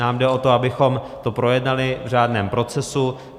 Nám jde o to, abychom to projednali v řádném procesu.